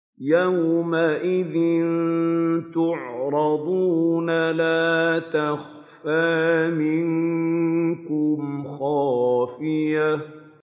يَوْمَئِذٍ تُعْرَضُونَ لَا تَخْفَىٰ مِنكُمْ خَافِيَةٌ